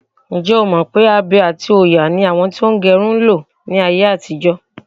Ǹjẹ́́ o mọ̀ pé abe àti òòyà ni àwọn tí wọ́n ń gẹrun ń lo láyé àtijọ?